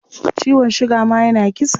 Ciwon suga ma yana kisa.